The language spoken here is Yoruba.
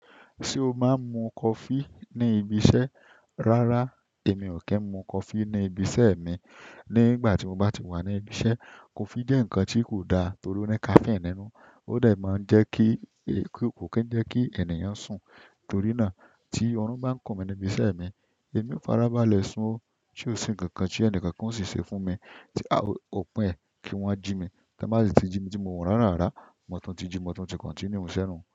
Ṣé o máa ń mu coffee ní ibi iṣẹ́? Rárá, èmi ò kí ń mu coffee ní ibi iṣẹ́ mi. Ní ìgbà tí mo bá ti wà ní ibi iṣẹ́, coffee jẹ́ nǹkan tí kò da torí ó ní caffeine nínú. Ó dẹ̀ máa ń jẹ́ kí, kò kí ń jẹ́ kí ènìyàn sùn. Torí náà tí ọrun bá ń kùn mi ní ibi iṣẹ́ mi, èmi ó farabalẹ̀ sun. Ṣé ò sí ǹkan kan tí ẹni kankan ó sì ṣe fún mi, tí a ó pé kí wọ́n jí mi. Kí a má sì tí jí mi tí mo wọ̀n ránrànrán mò tún ti ji, mò tún ti continue iṣẹ́ mi.